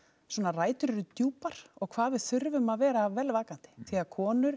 svona rætur eru djúpar og hvað hvað við þurfum að vera vel vakandi því að konur